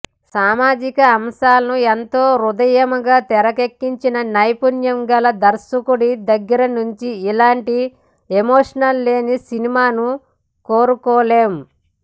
సామాజిక అంశాలను ఎంతో హృద్యంగా తెరకెక్కించిన నైపుణ్యం గల దర్శకుడి దగ్గర నుంచి ఇలాంటి ఎమోషన్ లేని సినిమాను కోరుకోలేం